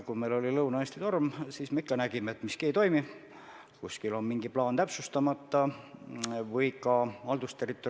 Kas nad on selle info läbi analüüsinud ja andnud soovituse, et kes on kusagil käinud, see jälgigu oma tervislikku seisundit.